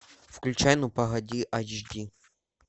включай ну погоди айч ди